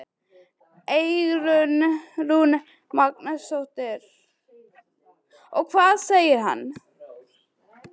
Eyrún Magnúsdóttir: Og hvað segir hann?